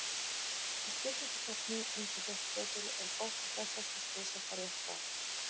Í spurningakeppni eins og Gettu betur er gott og blessað að slysast á rétt svar.